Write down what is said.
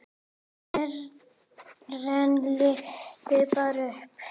Karen lyftir barninu upp.